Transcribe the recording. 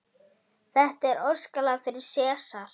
Þetta er óskalag fyrir Sesar.